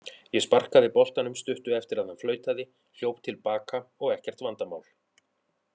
Ég sparkaði boltanum stuttu eftir að hann flautaði, hljóp til baka og ekkert vandamál.